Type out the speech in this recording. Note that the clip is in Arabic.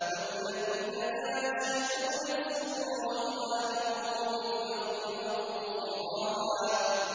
وَالَّذِينَ لَا يَشْهَدُونَ الزُّورَ وَإِذَا مَرُّوا بِاللَّغْوِ مَرُّوا كِرَامًا